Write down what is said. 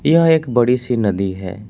यह एक बड़ी सी नदी है।